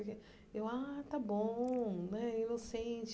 O que e eu ah está bom né inocente.